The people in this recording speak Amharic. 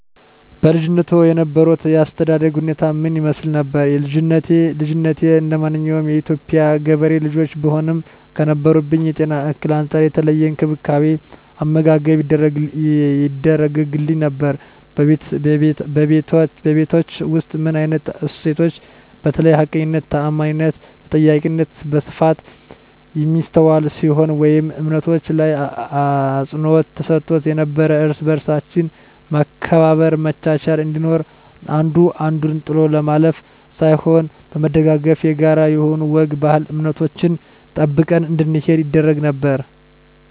በልጅነትዎ የነበሮት የአስተዳደግ ሁኔታ ምን ይመስል ነበር? ልጅነቴ እንደማንኛውም የኢትዮጵያ ገበሬ ልጆች ብሆንም ከነበረብኝ የጤና እክል አንፃር የተለየ እንክብካቤ አመጋገብ ይደረግግልኝ ነበር በቤታቹ ውስጥ ምን አይነት እሴቶች በተለይ ሀቀኝነት ታአማኒትና ተጠያቂነት በስፋት የሚስተዋል ሲሆን ወይም እምነቶች ላይ አፅንዖት ተሰጥቶ ነበረው እርስ በርሳችን መከባበር መቻቻል እንዲኖር አንዱ አንዱን ጥሎ ለማለፍ ሳይሆን በመደጋገፍ የጋራ የሆኑ ወግ ባህል እምነቶችን ጠብቀን እንድንሄድ ይደረግ ነበር